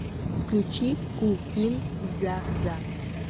включи ку кин дза дза